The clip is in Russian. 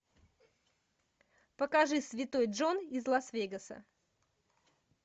покажи святой джон из лас вегаса